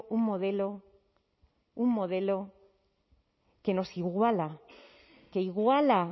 un modelo un modelo que nos iguala que iguala